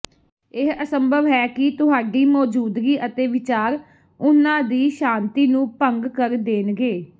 ਇਹ ਅਸੰਭਵ ਹੈ ਕਿ ਤੁਹਾਡੀ ਮੌਜੂਦਗੀ ਅਤੇ ਵਿਚਾਰ ਉਨ੍ਹਾਂ ਦੀ ਸ਼ਾਂਤੀ ਨੂੰ ਭੰਗ ਕਰ ਦੇਣਗੇ